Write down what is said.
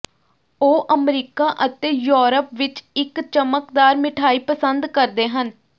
ਉਹ ਅਮਰੀਕਾ ਅਤੇ ਯੂਰਪ ਵਿਚ ਇਕ ਚਮਕਦਾਰ ਮਿਠਾਈ ਪਸੰਦ ਕਰਦੇ ਹਨ